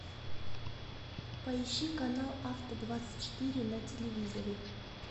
поищи канал авто двадцать четыре на телевизоре